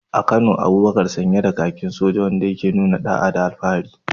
A Kano, Abubakar yana sanye da kakin soja, wanda ke nuna da’a da alfahari.